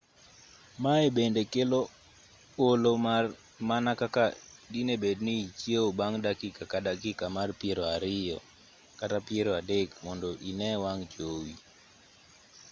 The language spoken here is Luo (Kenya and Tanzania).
maye bende kelo olo mana kaka dine bed ni ichiewo bang' dakika ka dakika mar piero ariyo kata piero adek mondo ine wang' jowi